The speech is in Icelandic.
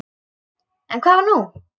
En hvað var nú?